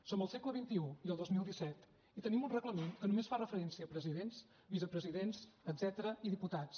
som al segle xxi i al dos mil disset i tenim un reglament que només fa referència a presidents vicepresidents etcètera i diputats